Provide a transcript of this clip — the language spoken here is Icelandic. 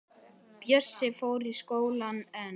Bjössi fór í skólann en